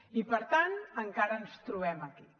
i per tant encara ens trobem aquí